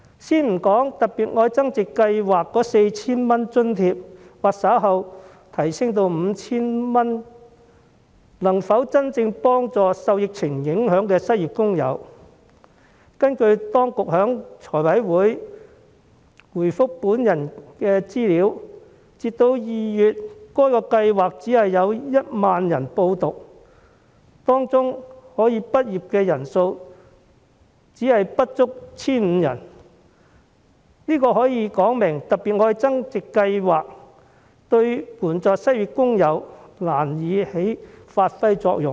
先不說計劃的 4,000 元津貼，或稍後提升至 5,000 元的津貼能否真正幫助受疫情影響的失業工友，根據當局在財務委員會回覆我的資料，截至2月，該計劃只有1萬人報讀，當中可以畢業的人數不足 1,500 人，說明了計劃對援助失業工友難以發揮作用。